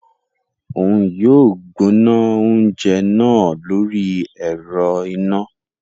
Oun yóò gbóná oúnjẹ náà lórí ẹrọ iná